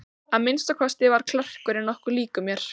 Að minnsta kosti var klerkurinn nokkuð líkur mér.